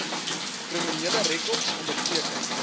kriminele rekords onderteken